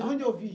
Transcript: De onde eu vim?